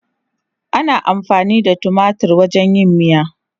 Ana amfani da tumatir wajen yin miya.